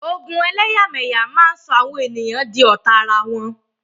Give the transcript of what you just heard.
Ogun ẹlẹ́yàmẹyà máa sọ àwọn di ọ̀tá ara wọn.